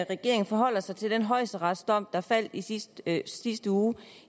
regeringen forholder sig til den højesteretsdom der faldt i sidste i sidste uge